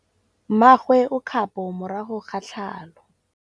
Mmagwe o kgapô morago ga tlhalô.